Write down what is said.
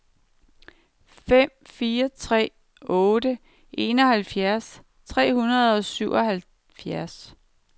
fem fire tre otte enoghalvfjerds tre hundrede og syvoghalvfjerds